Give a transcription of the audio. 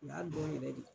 U y'a dɔn yɛrɛ de